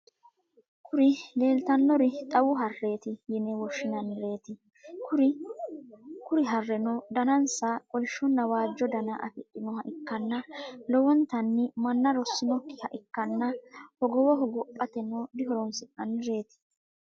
Kuri lelitanori xawu hareti yine woshshinaniret kuri hareno dananisa kolishona wajjo dana afidhinoha ikana lowonitani mana rosinokiha ikana hogowo hogopateno dihoronisinaniret.